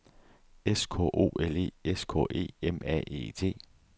S K O L E S K E M A E T